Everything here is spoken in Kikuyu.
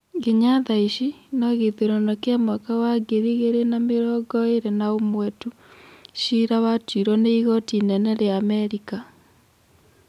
Nginya thaici, no gĩthurano kĩa mwaka wa ngiri igĩrĩ na mĩrongo ĩrĩ na ũmwe tu, cira watuirwo nĩ igoti inene rĩa Amerika.